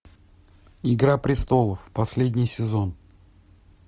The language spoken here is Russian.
игра престолов последний сезон